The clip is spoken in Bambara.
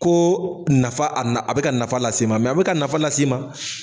Ko nafa a nafa a be ka nafa las'i ma mɛ a bi ka nafa las'i ma